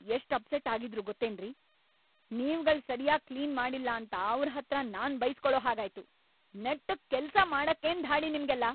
Client ಎಷ್ಟ್‌ upset ಆಗಿದ್ರು ಗೊತ್ತೇನ್ರಿ.. ನೀವ್ಗಳ್‌ ಸರ್ಯಾಗ್‌ ಕ್ಲೀನ್‌ ಮಾಡಿಲ್ಲಾಂತ ಅವ್ರ್‌ ಹತ್ರ ನಾನ್‌ ಬೈಸ್ಕೊಳೋ ಹಾಗಾಯ್ತು. ನೆಟ್ಟುಗ್‌ ಕೆಲ್ಸ ಮಾಡಕ್ಕೇನ್‌ ಧಾಡಿ ನಿಮ್ಗೆಲ್ಲ?!